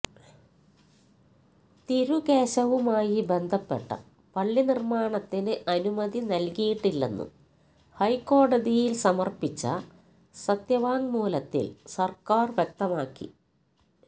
തിരുകേശവുമായി ബന്ധപ്പെട്ട പള്ളിനിര്മാണത്തിന് അനുമതി നല്കിയിട്ടില്ലെന്നും ഹൈക്കോടതിയില് സമര്പ്പിച്ച സത്യവാങ്മൂലത്തില് സര്ക്കാര് വ്യക്തമാക്കി